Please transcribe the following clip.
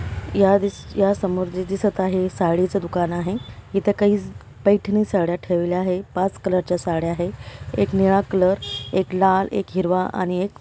या समोर जे दिसत आहे साडीच दुकान आहे इथ काही पैठणी साड्या ठेवलेल्या आहे पाच कलरच्या साड्या आहे एक निळा कलर एक लाल एक हिरवा आणि एक--